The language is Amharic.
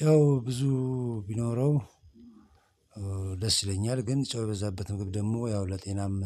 ጨው ብዙ ቢኖረው ደስ ይለኛል። ግን ጨው የበዛበት ምግብ ደግሞ ያው ለጤናም